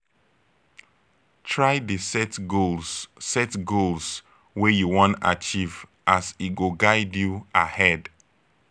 try dey set goals set goals wey you wan achieve as e go guide you ahead